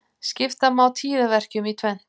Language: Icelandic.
Skipta má tíðaverkjum í tvennt.